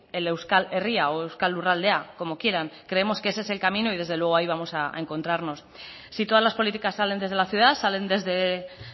el euskal herria o euskal lurraldea como quieran creemos que ese es el camino y desde luego ahí vamos a encontrarnos si todas las políticas salen desde la ciudad salen desde